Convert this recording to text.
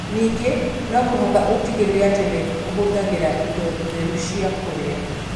Ningĩ no mũhaka ũtigĩrĩre atĩ nĩ ũhũthagĩra indo theru cia kũrĩa.